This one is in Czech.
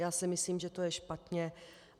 Já si myslím, že to je špatně.